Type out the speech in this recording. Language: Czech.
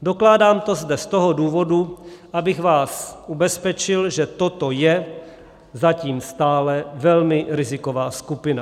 Dokládám to zde z toho důvodu, abych vás ubezpečil, že toto je zatím stále velmi riziková skupina.